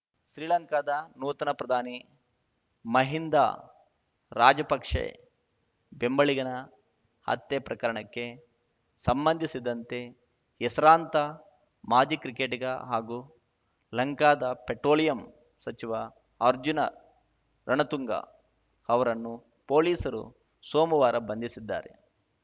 ಶ್ರೀಲಂಕಾದ ನೂತನ ಪ್ರಧಾನಿ ಮಹಿಂದಾ ರಾಜಪಕ್ಷೆ ಬೆಂಬಲಿಗನ ಹತ್ಯೆ ಪ್ರಕರಣಕ್ಕೆ ಸಂಬಂಧಿಸಿದಂತೆ ಹೆಸರಾಂತ ಮಾಜಿ ಕ್ರಿಕೆಟಿಗ ಹಾಗೂ ಲಂಕಾದ ಪೆಟ್ರೋಲಿಯಂ ಸಚಿವ ಅರ್ಜುನ ರಣತುಂಗ ಅವರನ್ನು ಪೊಲೀಸರು ಸೋಮುವಾರ ಬಂಧಿಸಿದ್ದಾರೆ